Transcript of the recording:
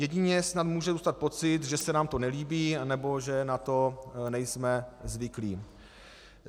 Jedině snad může zůstat pocit, že se nám to nelíbí nebo že na to nejsme zvyklí.